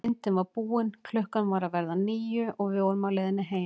Myndin var búin, klukkan var að verða níu og við vorum á leiðinni heim.